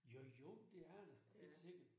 Jo jo, det er det da. Helt sikkert